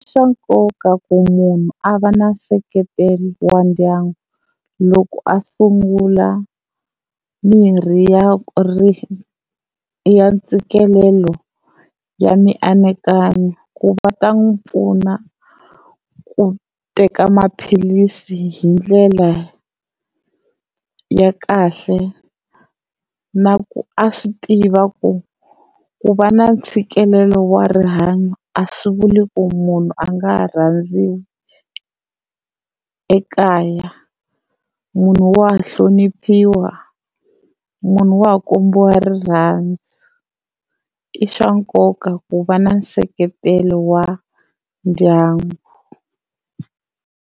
Xa nkoka ku munhu a va na nseketelo wa ndyangu loko a sungula mirhi ya ya ntshikelelo ya mianakanyo ku va ta n'wi pfuna ku teka maphilisi hi ndlela ya kahle, na ku a swi tiva ku ku va na ntshikelelo wa rihanyo a swi vuli ku munhu a nga ha rhandziwa ekaya. Munhu wa hloniphiwa munhu wa ha kombiwa rirhandzu i swa nkoka ku va na nseketelo wa ndyangu.